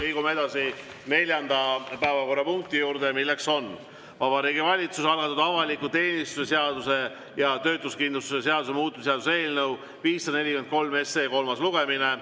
Liigume edasi neljanda päevakorrapunkti juurde, milleks on Vabariigi Valitsuse algatatud avaliku teenistuse seaduse ja töötuskindlustuse seaduse muutmise seaduse eelnõu 543 kolmas lugemine.